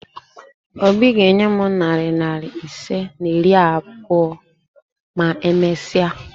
Obi ga-enye m narị naịra ise na iri abụọ ma e mesia